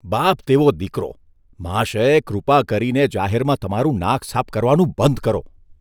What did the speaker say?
બાપ તેવો દીકરો. મહાશય, કૃપા કરીને જાહેરમાં તમારું નાક સાફ કરવાનું બંધ કરો.